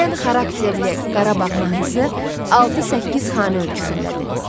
Şən xarakterli Qarabağ mahnısı 6-8 xana ölçüsündədir.